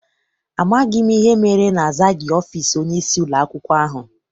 Amaghị m ihe mere na-azaghị ọfịịsi onyeisi ụlọakwụkwọ ahụ.